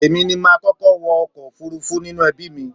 Èmi ni mà á kọ́kọ́ wọ ọkọ̀ òfurufú nínú ẹbí mi.